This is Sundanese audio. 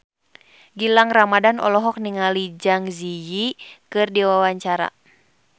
Gilang Ramadan olohok ningali Zang Zi Yi keur diwawancara